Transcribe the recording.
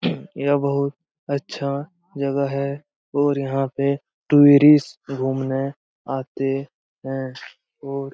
यह बहुत अच्छा जगह है और यहाँ पे टूरिस्ट घूमने आते हैं और --